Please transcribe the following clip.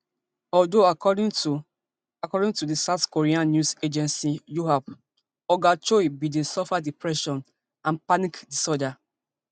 although according to according to di south korean news agencyyonhap oga choi bin dey suffer depression and panic disorder